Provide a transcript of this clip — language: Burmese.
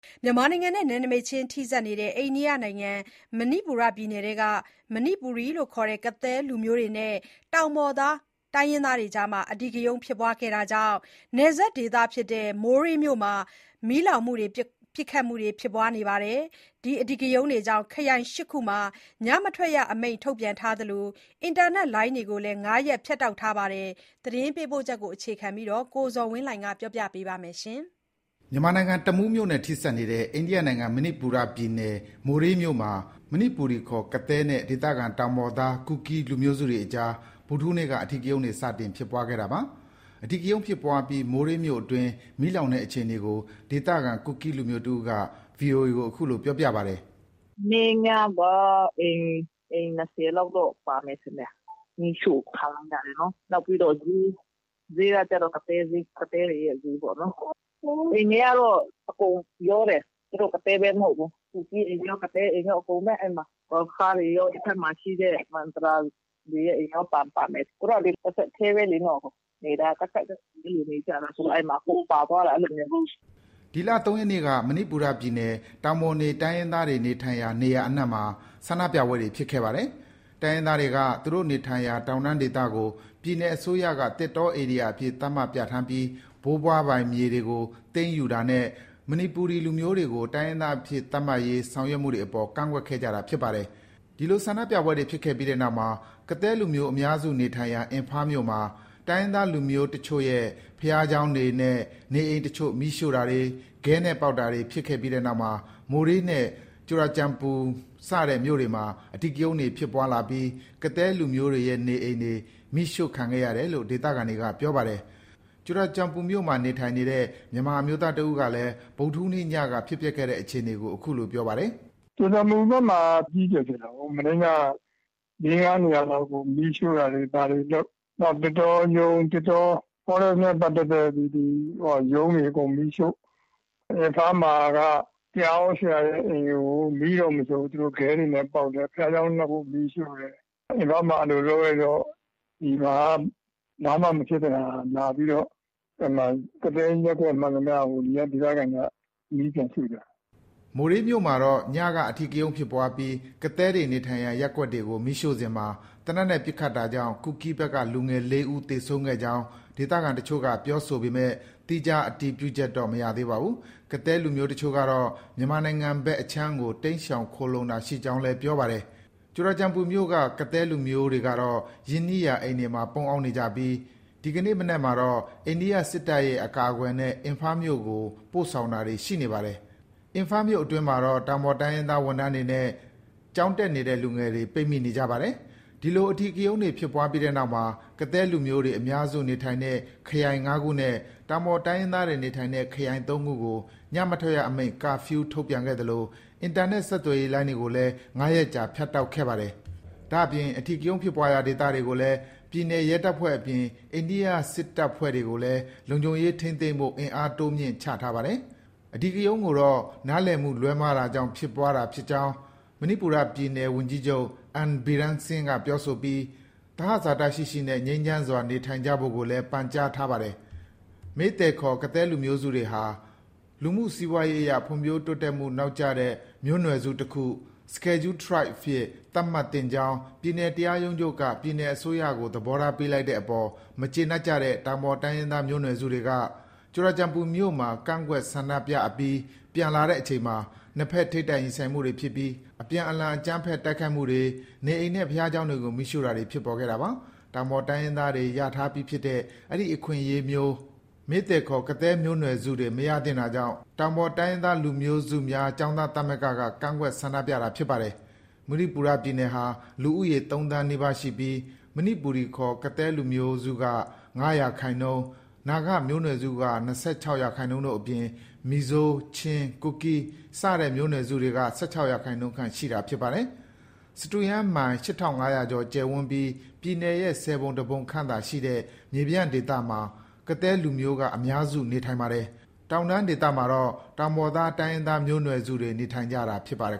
မြန်မာနိုင်ငံနဲ့ နယ်နမိတ်ချင်းထိစပ်နေတဲ့ အိန္ဒိယနိုင်ငံ၊ မဏိပူရ ပြည်နယ်အတွင်းမှာ မဏိပူရီခေါ်၊ ကသည်းလူမျိုးတွေနဲ့ တောင်ပေါ်သား တိုင်းရင်းသားတွေအကြား အဓိကရုဏ်းဖြစ်ပွားခဲ့တာကြောင့် နယ်စပ်ဒေသဖြစ်တဲ့ မိုးရေးမြို့မှာ မီးလောင်မှု၊ ပစ်ခတ်မှုတွေ ဖြစ်ပွားခဲ့ပါတယ်။ ဒီအဓိကရုဏ်းတွေကြောင့် ခရိုင် ၈ခုမှာ ညမထွက်ရအမိန့် ထုတ်ပြန်ထားသလို အင်တာနက်လိုင်းတွေကိုလည်း ၅ရက် ဖြတ်တောက်ထားပါတယ်။ ဒီအကြောင်း သတင်းပေးပို့ချက်ကို အခြေခံပြီး ကိုဇော်ဝင်းလှိုင်က တင်ပြပေးမယ်။ မြန်မာနိုင်ငံ၊ တမူးမြို့နဲ့ထိစပ်နေတဲ့ အိန္ဒိယနိုင်ငံ၊ မဏိပူရပြည်နယ်၊ မိုးရေးမြို့မှာ မဏိပူရီခေါ်၊ ကသည်းနဲ့ ဒေသခံတောင်ပေါ်သား ကူကီး လူမျိုးစုတွေအကြားမှာ ဗုဒ္ဓဟူးနေ့က အဓိကရုဏ်းတွေ စတင်ဖြစ်ပွားခဲ့တာပါ။ အဓိကရုဏ်းဖြစ်ပွားပြီး မိုးရေးမြို့အတွင်း မီးလောင်တဲ့အခြေအနေကို ဒေသခံ ကူကီးလူမျိုးတစ်ဦးက VOA ကို အခုလို ပြောပါတယ်။ “မနေ့ညက အိမ် ၂၀လောက်တော့ ပါမယ်ထင်တယ်၊ မီးရှို့ခံရတာတွေနော်။ နောက်ပြီးတော့ ဈေး၊ ဈေးကကျတော့ ကသည်းဈေး၊ ကသည်းတွေရဲ့ဈေးပေါ့နော်။ အိမ်တွေကတော့ အကုန်ရောတယ်။ သူတို့ ကသည်းပဲ မဟုတ်ဘူး။ ကူကီး အိမ်တွေရော၊ ကသည်းအိမ်တွေရော အဲဒီမှာ။ ဂေါ်ရခါးတွေရော၊ ဒီဘက်မှာရှိတဲ့ မဒရာစီတွေရဲ့အိမ်ရော ပါမယ်။ သူတို့က တဆက်တည်းပဲလေ။ နေတာက ကပ်ကပ်နေကြတာ ဆိုတော့ အကုန်ပါသွားတာ။ အဲလိုမျိုး။” ဒီလ ၃ရက်နေ့က မဏိပူရ ပြည်နယ်က တောင်ပေါ်နေတိုင်းရင်းသားတွေနေထိုင်ရာ နေရာအနှံမှာ ဆန္ဒပြပွဲတွေ ဖြစ်ခဲ့ပါတယ်။ တိုင်းရင်းသားတွေက သူတို့နေထိုင်ရာ တောင်တန်းဒေသကို ပြည်နယ်အစိုးရက သစ်တောဧရိယာအဖြစ် သတ်မှတ်ပြဌာန်းပြီး ဘိုးဘွားပိုင် မြေတွေကို သိမ်းယူတာနဲ့ မဏိပူရီလူမျိုးတွေကို တိုင်းရင်းသားအဖြစ် သတ်မှတ်ရေး ဆောင်ရွက်မှုတွေအပေါ် ကန့်ကွက်ခဲ့ကြတာ ဖြစ်ပါတယ်။ ဒီလို ဆန္ဒပြပွဲတွေဖြစ်ခဲ့ပြီးနောက်မှာ ကသည်းလူမျိုး အများစုနေထိုင်ရာ အင်ဖားမြို့မှာ တိုင်းရင်းသားလူမျိုးအချို့ရဲ့ ဘုရားကျောင်းတွေနဲ့ နေအိမ်အချို့ မီးရှို့တာတွေ၊ ခဲနဲ့ပေါက်တာတွေ ဖြစ်ခဲ့ပြီးနောက်မှာ မိုးရေးနဲ့ ကြူရာကျန်ပူ စတဲ့ မြို့တွေမှာ အဓိကရုဏ်းတွေ ဖြစ်ပွားလာပြီး ကသည်းလူမျိုးတွေရဲ့ နေအိမ်တွေ မီးရှိုခံခဲ့ရတယ်လို့ ဒေသခံတွေက ပြောပါတယ်။ ကြူရာကျန်ပူ မြို့မှာ နေထိုင်နေတဲ့ မြန်မာ အမျိုးသားတစ်ဦးကလည်း ဗုဒ္ဓဟူးနေ့ညက ဖြစ်ပျက်ခဲ့တဲ့အခြေအနေကို အခုလို ပြောပါတယ်။ “ကြူရာကျန်ပူဘက်မှာ အကြီးအကျယ်ဖြစ်တာပေါ့။ လေး−ငါးနေရာလောက်ကို မီးရှို့တာတွေ ဘာတွေလုပ်၊ နောက် သစ်တောရုံး၊ Forest နဲ့ ပတ်သက်တဲ့ ဒီ ရုံးတွေအကုန် မီးရှို့။ အင်ဖားမှာ တရားဟောဆရာရဲ့အိမ်တွေကို မီးတော့ မရှို့ဘူး၊ သူတို့ ခဲတွေနဲ့ပေါက်တယ်။ ဘုရားကျောင်း နှစ်ခု မီးရှို့တယ်။ အင်ဖားမှာ အဲလို လုပ်လိုက်တော့ ဒီမှာက ဘာမှမဖြစ်တဲ့ဟာ လာပြီးတော့ ကသည်းရပ်ကွက်မှန်သမျှကို ဒီက ဒေသခံတွေက မီးပြန်ရှို့ကြတာ။” မိုးရေးမြို့မှာတော့ ညက အဓိကရုဏ်းဖြစ်ပွားပြီး ကသည်းတွေနေထိုင်ရာ ရပ်ကွက်ကို မီးရှို့စဉ်မှာ သေနတ်နဲ့ ပစ်ခတ်တာကြောင့် ကူကီးဘက်က လူငယ် ၄ဦးသေဆုံးကြောင်း ဒေသခံတချို့က ပြောဆိုပေမဲ့ သီးခြား အတည်ပြုချက်တော့ မရသေးပါဘူး။ ကသည်းလူမျိုးအချို့ကတော့ မြန်မာနိုင်ငံဘက်အခြမ်းကို တိမ်းရှောင် ခိုလှုံတာရှိကြောင်းလည်း ပြောပါတယ်။ ကြူရာကျန်ပူမြို့က ကသည်းလူမျိုးတွေကတော့ ရင်းနှီးရာ အိမ်တွေမှာ ပုန်းရှောင်နေကြပြီး ဒီကနေ့ မနက်မှာတော့ အိန္ဒိယစစ်တပ်ရဲ့ အကာအကွယ်နဲ့ အင်ဖားမြို့ကို ပို့ဆောင်တာတွေ ရှိနေပါတယ်။ အင်ဖားမြို့အတွင်းမှာတော့ တောင်ပေါ်တိုင်းရင်းသား ဝန်ထမ်းတွေနဲ့ ကျောင်းတက်နေတဲ့ လူငယ်တွေ ပိတ်မိနေကြပါတယ်။ ဒီလို အဓိကရုဏ်းတွေဖြစ်ပွားပြီးနောက်မှာ ကသည်းလူမျိုးတွေအများစုနေထိုင်တဲ့ ခရိုင် ၅ခုနဲ့ တောင်ပေါ်တိုင်းရင်းသားတွေနေထိုင်တဲ့ ခရိုင် ၃ခုကို ညမထွက်ရအမိန့် Curfew ထုတ်ပြန်ခဲ့သလို အင်တာနက်ဆက်သွယ်ရေးလိုင်းတွေကိုလည်း ၅ရက်ကြာ ဖြတ်တောက်ခဲ့ပါတယ်။ ဒါအပြင် အဓိကရုဏ်းဖြစ်ပွားရာဒေသတွေကိုလည်း ပြည်နယ်ရဲတပ်ဖွဲ့အပြင် အိန္ဒိယစစ်တပ်ဖွဲ့တွေကိုလည်း လုံခြုံရေးထိန်းသိမ်းဖို့ အင်အားတိုးမြှင့်ချထားပါတယ်။ ဒီအဓိကရုဏ်းကိုတော့ နားလည်မှုလွဲမှားတာကြောင့် ဖြစ်ပွားတာဖြစ်ကြောင်း မဏိပူရပြည်နယ် ဝန်ကြီးချုပ် N Biren Singh ပြောဆိုပြီး သဟဇာတရှိရှိနဲ့ ငြိမ်းချမ်းစွာနေထိုင်ကြဖို့ကိုလည်း ပန်ကြားထားပါတယ်။ Meitei ခေါ်၊ ကသည်းမျိုးနွယ်စုတွေဟာ လူမှု စီးပွားရေးအရ ဖွံ့ဖြိုးမှုနောက်ကျတဲ့ မျိုးနွယ်စုတခု အဖြစ် သတ်မှတ်သင့်ကြောင်း ပြည်နယ်တရားရုံးချုပ်က ပြည်နယ်အစိုးရကို သဘောထားပေးလိုက်တဲ့အပေါ် မကျေနပ်ကြတဲ့ တောင်ပေါ်တိုင်းရင်းသား မျိုးနွယ်စုတွေက Churachandpur မြို့မှာ ကန့်ကွက် ဆန္ဒပြအပြီး ပြန်လာတဲ့အချိန်မှာ နှစ်ဘက် ထိပ်တိုက် ရင်ဆိုင်မှုတွေဖြစ်ပြီး အပြန်အလှန် အကြမ်းဖက် တိုက်ခိုက်မှုတွေ၊ နေအိမ်နဲ့ ဘုရားကျောင်းတွေကို မီးရှို့တာတွေ ဖြစ်ပေါ်လာခဲ့တာပါ။ တောင်ပေါ် တိုင်းရင်းသား တွေ ရထားပြီးဖြစ်တဲ့ အဲဒီ အခွင့်အရေးမျိုး Meitei ခေါ်၊ ကသည်းမျိုးနွယ်စုတွေ မရသင့်တာကြောင့် တောင်ပေါ်တိုင်းရင်းသား လူမျိုးစုမျိုးစုများ ကျောင်းသားသမဂ္ဂက ကန့်ကွက် ဆန္ဒပြတာဖြစ်ပါတယ်။ မဏိပူရပြည်နယ်ဟာ လူဦးရေ ၃သန်းနီးပါးရှိပြီး မဏိပူရီခေါ် ကသည်းလူမျိုးက ၅၃ရာခိုင်နှုန်း၊ နာဂမျိုးနွယ်စုက ၂၆ရာခိုင်နှုန်းတို့အပြင် မီဇိုး၊ ချင်း၊ ကူကီး စတဲ့မျိုးနွယ်စုတွေက ၁၆ရာခိုင်နှုန်းခန့် ရှိတာဖြစ်ပါတယ်။ စတုရန်းမိုင် ၈၅၀၀ကျော် ကျယ်ဝန်းပြီး ပြည်နယ်ရဲ့ ၁၀ပုံ ၁ပုံခန့်သာရှိတဲ့ မြေပြန့်ဒေသမှာ ကသည်းလူမျိုးက အများစုနေထိုင်ပါတယ်။ ကျန်တောင်တန်းဒေသမှာတော့ တောင်ပေါ်သား တိုင်းရင်းသားမျိုးနွယ်စုတွေ နေထိုင်ကြတာဖြစ်ပါတယ်